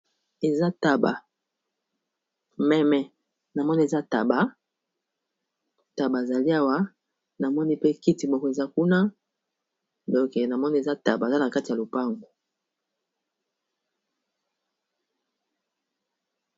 eza taba meme na moni eza taba taba zali awa na moni pe kiti moko eza kuna doke na moni eza taba eza na kati ya lopango